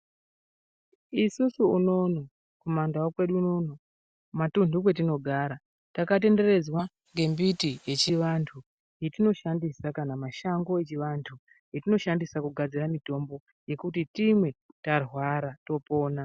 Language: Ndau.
Isusu unono kumandau kwedu unono kumatunhu kumatunhu kwetinogara. Takatenderedzwa ngembiti echivantu yatinoshandisa kana mashango echivantu etinoshandisa kugadzira mitombo, yekuti timwe tarwara topona.